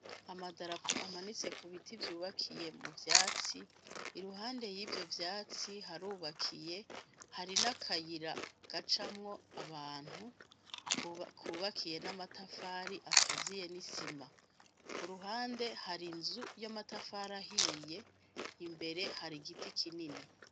Amadarapo amanitse kubiti vyubakiye mu ivyatsi, iruhande yivyo vyatsi harubakiye, hari nakayira gacamwo abantu kubakiye n'amatafari akaziye nisima. Kuruhande har'inzu yamatafari ahiye imbere hari igiti kinini.